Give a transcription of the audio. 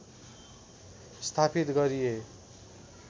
स्थापित गरिए